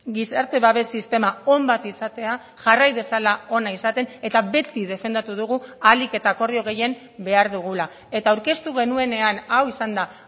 gizarte babes sistema on bat izatea jarrai dezala ona izaten eta beti defendatu dugu ahalik eta akordio gehien behar dugula eta aurkeztu genuenean hau izanda